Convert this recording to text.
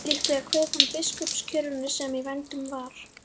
Líklega kveið hann biskupskjörinu sem í vændum var.